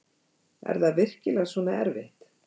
Er það virkilega svona erfitt?